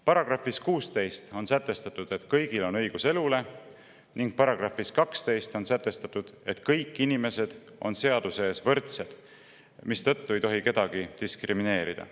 Paragrahvis 16 on sätestatud, et kõigil on õigus elule, ning §‑s 12, et kõik inimesed on seaduse ees võrdsed, mistõttu ei tohi kedagi diskrimineerida.